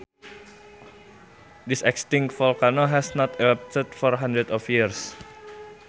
This extinct volcano has not erupted for hundreds of years